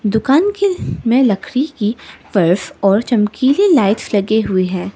दुकान के में लकड़ी की र्फस और चमकीली लाइट्स लगे हुए हैं।